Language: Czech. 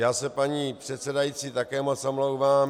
Já se, paní předsedající, také moc omlouvám.